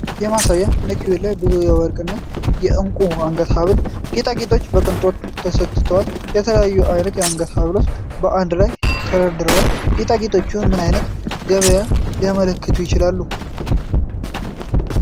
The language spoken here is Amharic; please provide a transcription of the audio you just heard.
የማሳያ ማኔኩዊን ላይ ብዙ የወርቅ እና ዕንቁ የአንገት ሐብልና ጌጣጌጦች በቅንጦት ተሰቅለዋል። የተለያዩ አይነት የአንገት ሐብሎች በአንድ ላይ ተደርድረዋል። ጌጣጌጦቹ ምን አይነት ገበያን ሊያመለክቱ ይችላሉ?